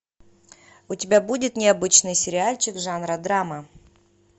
у тебя будет необычный сериальчик жанра драма